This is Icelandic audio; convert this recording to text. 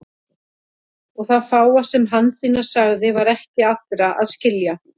Og það fáa sem Hansína sagði var ekki allra að skilja.